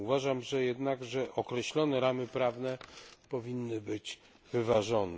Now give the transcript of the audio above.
Uważam jednak, że określone ramy prawne powinny być wyważone.